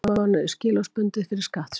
Tíu mánuðir skilorðsbundið fyrir skattsvik